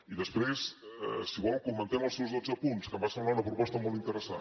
i després si vol comentem els seus dotze punts que em va semblar una proposta molt interessant